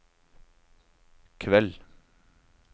kveld